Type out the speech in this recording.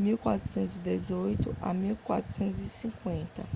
1418 - 1450